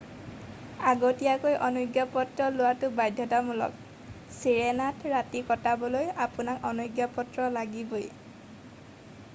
আগতীয়াকৈ অনুজ্ঞাপত্ৰ লোৱাটো বাধ্যতামূলক চিৰেনাত ৰাতি কটাবলৈ আপোনাক অনুজ্ঞাপত্ৰ লাগিবই